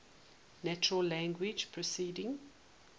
natural language processing